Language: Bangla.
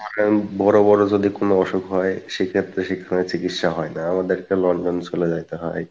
বড় বড় যদি কোনো অসুখ হয় সেই ক্ষেত্রে সেখানে চিকিৎসা হয়না আমাদেরকে London চলে যাইতে হয়,